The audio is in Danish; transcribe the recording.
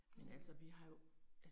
Mh